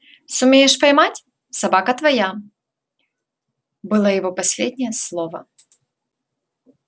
сумеешь поймать собака твоя было его последнее слово